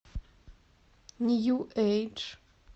нью эйдж